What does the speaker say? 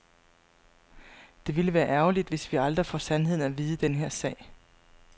Det ville være ærgerligt, hvis vi aldrig får sandheden at vide i den her sag.